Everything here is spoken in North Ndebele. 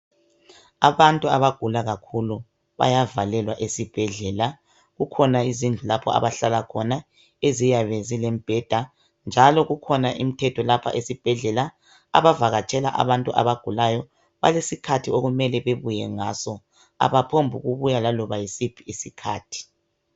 abantu abagula kakhulu bayavalelwa esibhedlela kukhona izindlu lapho abahlala khona eziyabe zilembheda njalo kukhona imthetho lapha esibhedlela abavakatshela abantu abagulayo balesikhathi okumele babuye ngaso abaphombi ukubuya laloba yisiphi isikhathi